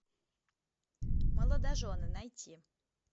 молодожены найти